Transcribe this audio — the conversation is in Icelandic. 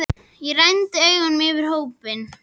Og renndi augunum yfir á hópinn.